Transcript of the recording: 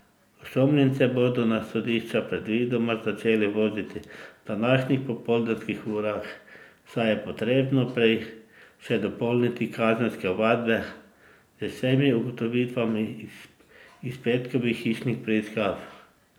Osumljence bodo na sodišča predvidoma začeli voziti v današnjih popoldanskih urah, saj je potrebno prej še dopolniti kazenske ovadbe z vsemi ugotovitvami iz petkovih hišnih preiskav.